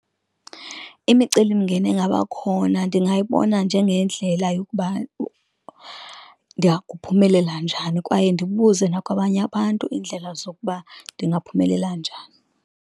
Imicelimngeni engabakhona ndingayibona njengendlela yokuba ndiyakuphumelela njani, kwaye ndibuze nakwabanye abantu iindlela zokuba ndingaphumelela njani.